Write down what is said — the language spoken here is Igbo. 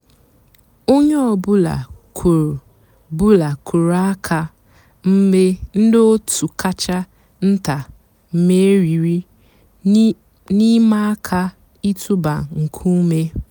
ónyé ọ̀ bụ́là kùrù bụ́là kùrù àkà mg̀bé ndị́ ótú kàchà ntá mèrírí n'ị̀màà àká ị̀tụ́bà nkúmé.